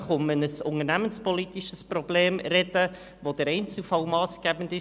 Wir sprechen über ein unternehmenspolitisches Problem, bei dem der Einzelfall massgebend ist.